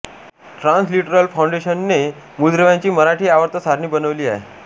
Transliteral फाऊंडेशनने मूलद्रव्यांची मराठी आवर्त सारणी बनवली आहे